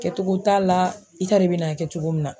Kɛcogo t'a la i t'a dɔn i bina a kɛ cogo min na.